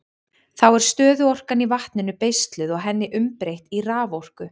Þá er stöðuorkan í vatninu beisluð og henni umbreytt í raforku.